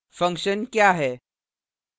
function function क्या है